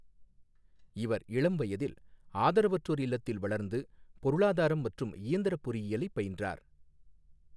இவா் இளம் வயதில் ஆதரவற்றோா் இல்லத்தில் வளா்ந்து பொருளாதாரம் மற்றும் இயந்திரப் பொறியியலைப் பயின்றாா்.